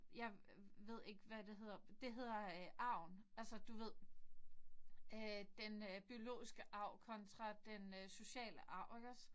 Jeg ved ikke hvad det hedder på det hedder arven. Altså du ved den øh den øh biologiske kontra den øh sociale arv iggås